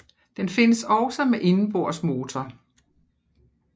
Den findes også med indenbords motor